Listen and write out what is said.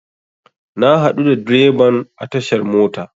Na haɗu da dreban a tashar mota.